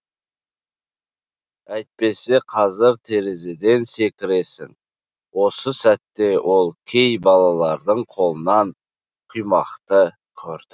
әйтпесе қазір терезеден секіресің осы сәтте ол кей балалардың қолынан құймақты көрді